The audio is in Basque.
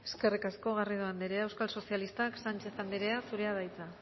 eskerrik asko garrido anderea eusko sozialistak sánchez anderea zurea da hitza